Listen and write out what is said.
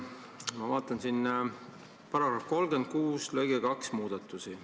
Ma vaatan § 36 lõike 2 muudatusi.